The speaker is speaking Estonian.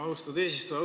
Austatud eesistuja!